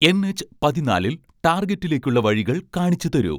N. H പതിനാലിൽ ടാർഗെറ്റിലേക്കുള്ള വഴികൾ കാണിച്ചുതരൂ